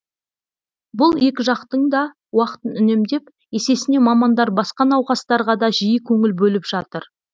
бұл екі жақтың да уақытын үнемдеп есесіне мамандар басқа науқастарға да жиі көңіл бөліп жатыр